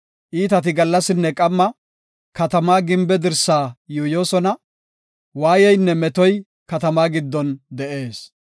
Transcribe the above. Iitati gallasinne qamma katamaa gimbe dirsaa yuuyosona; waayeynne metoy katamaa giddon de7ees.